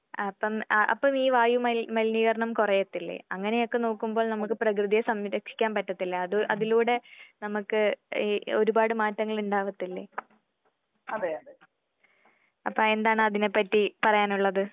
അപ്പം അ അപ്പോ ഈ വായു മലി മലിനീകരണം കുറയത്തില്ലേ? അങ്ങനെയൊക്കെ നോക്കുമ്പോൾ നമുക്ക് പ്രകൃതിയെ സംരക്ഷിക്കാൻ പറ്റത്തില്ലേ അത് അതിലൂടെ നമക്ക് ഈ ഒരുപാട് മാറ്റങ്ങൾ ഇണ്ടാവത്തില്ലേ? അപ്പൊ എന്താണ് അതിനെപ്പറ്റി പറയാനുള്ളത്?